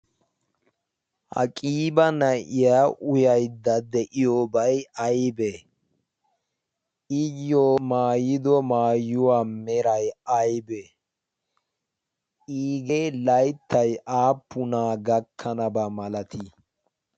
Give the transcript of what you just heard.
ha qiibq na"iya uyayidda diyobay ayibe a mayido mayuwa meray ayibe? iigee layittay appuna gakkanaba malati?